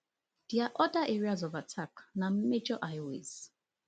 dia oda areas of attack na major highways